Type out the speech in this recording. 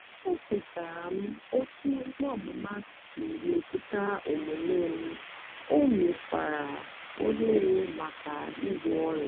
ekwetara m otú ikpe ọmụma si metụta omume m o meghekwara ohere maka ịgwọ ọrịa.